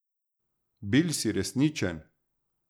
Bil si resničen!